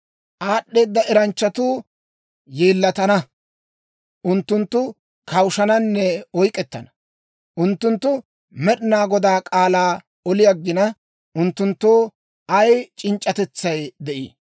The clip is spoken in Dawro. Aad'd'eeda eranchchatuu yeellatana; unttunttu kawushshananne oyk'k'ettana. Unttunttu Med'inaa Godaa k'aalaa oli aggina, unttunttoo ay c'inc'c'atetsay de'ii?